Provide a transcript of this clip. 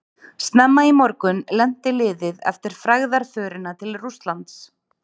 Snemma í morgun lenti liðið eftir frægðarförina til Rússlands.